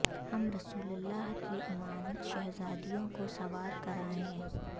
ہم رسول اللہ کی امانت شہزادیوں کو سوار کرایئں